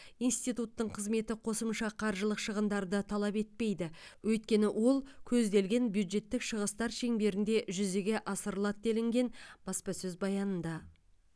институттың қызметі қосымша қаржылық шығындарды талап етпейді өйткені ол көзделген бюджеттік шығыстар шеңберінде жүзеге асырылады делінген баспасөз баянында